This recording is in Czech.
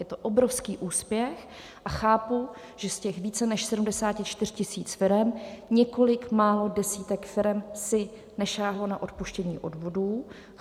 Je to obrovský úspěch a chápu, že z těch více než 74 000 firem několik málo desítek firem si nesáhlo na odpuštění odvodů.